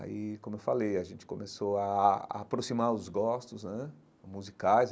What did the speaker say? Aí, como eu falei, a gente começou a a aproximar os gostos né musicais.